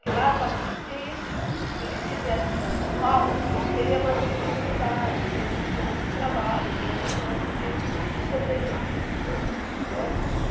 Que lá estava difícil e que se viesse para São Paulo, teria mais oportunidade, teria mais chance de trabalho, teria mais chance de de sobreviver. Uhum. Né?